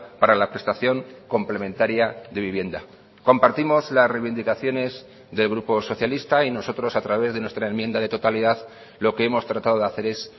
para la prestación complementaria de vivienda compartimos las reivindicaciones del grupo socialista y nosotros a través de nuestra enmienda de totalidad lo que hemos tratado de hacer es